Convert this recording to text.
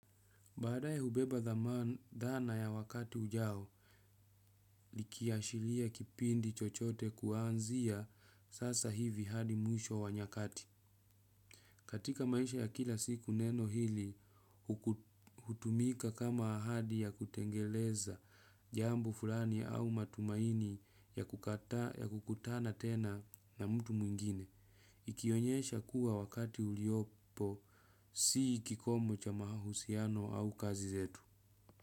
Badae hubeba dhamana dhana ya wakati ujao, likiashiria kipindi chochote kuanzia sasa hivi hadi mwisho wa nyakati. Katika maisha ya kila siku neno hili, hutumika kama ahadi ya kutengeleza jambu fulani au matumaini ya kukutana tena na mtu mwingine. Ikionyesha kuwa wakati uliopo, si kikomo cha mahusiano au kazi zetu.